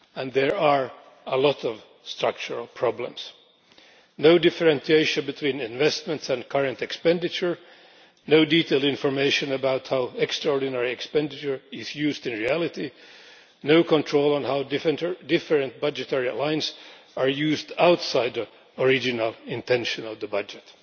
There are a lot of structural problems no differentiation between investments and current expenditure, no detailed information about how extraordinary expenditure is used in reality and no control on how different budget lines are used outside the original intention of the budget.